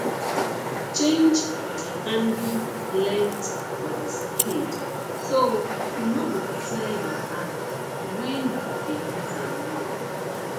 change the handle length for the spade so e no go tear your hand when you dey use am long